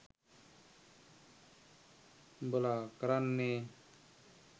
ඔබල කරන්නේ